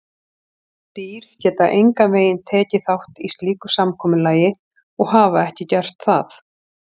Dýr geta engan veginn tekið þátt í slíku samkomulagi og hafa ekki gert það.